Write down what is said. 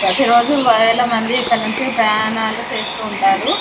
ప్రతి రోజు వేల మంది ఇక్కడ నుండి ప్రయాణాలు చేస్తూ ఉంటారు.